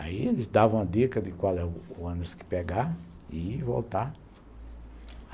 Aí eles davam a dica de qual era o ônibus que pegar e voltar.